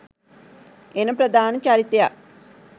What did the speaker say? එන ප්‍රධාන චරිතයක්